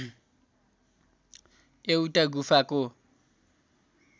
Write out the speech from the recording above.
एउटा गुफाको